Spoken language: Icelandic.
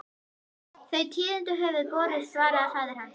Þau tíðindi höfðu borist, svaraði faðir hans.